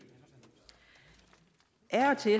af og til